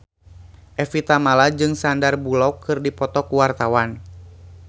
Evie Tamala jeung Sandar Bullock keur dipoto ku wartawan